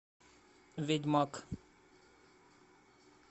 ведьмак